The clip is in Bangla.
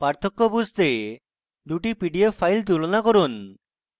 পার্থক্য বুঝতে 2 the pdf ফাইল তুলনা করুন